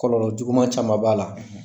Kɔlɔlɔ juguman caman b'a la.